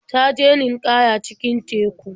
Ta je ninƙaya cikin teku.